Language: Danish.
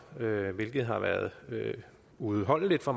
hvilket har været uudholdeligt for